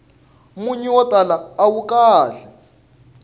munyu wo tala awu kahle